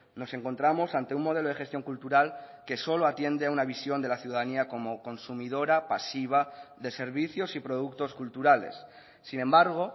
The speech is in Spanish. nos encontramos ante un modelo de gestión cultural que solo atiende a una visión de la ciudadanía como consumidora pasiva de servicios y productos culturales sin embargo